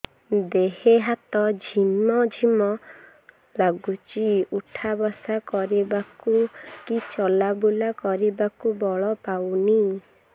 ଦେହେ ହାତ ଝିମ୍ ଝିମ୍ ଲାଗୁଚି ଉଠା ବସା କରିବାକୁ କି ଚଲା ବୁଲା କରିବାକୁ ବଳ ପାଉନି